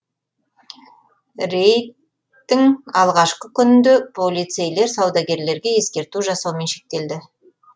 рейдттің алғашқы күнінде полицейлер саудагерлерге ескерту жасаумен шектелді